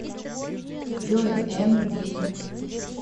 джой эмди